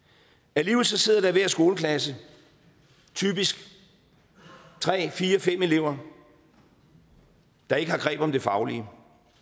alligevel sidder der i hver skoleklasse typisk tre fire fem elever der ikke har greb om det faglige